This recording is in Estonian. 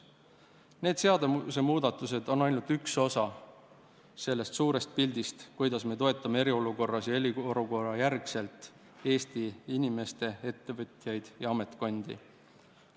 Need seadusemuudatused on ainult üks osa sellest suurest pildist, kuidas me toetame eriolukorras ja eriolukorrajärgselt Eesti inimesi, ettevõtjaid ja ametkondi.